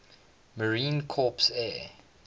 marine corps air